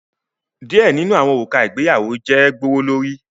Some wedding rings are expensive